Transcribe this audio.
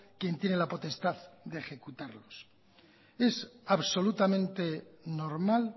quién tiene la potestad ejecutarlos es absolutamente normal